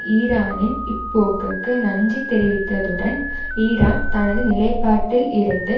ஈரானின் இப்போக்குக்கு நன்றி தெரிவித்ததுடன் ஈரான் தனது நிலைப்பாட்டில் இருந்து